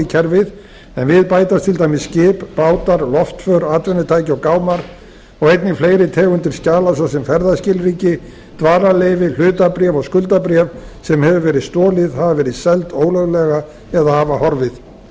kerfið en við bætast til dæmis skip bátar loftför atvinnutæki og gámar og einnig fleiri tegundir skjala svo sem ferðaskilríki dvalarleyfi hlutabréf og skuldabréf sem hefur verið stolið hafa verið seld ólöglega eða hafa horfið í öðru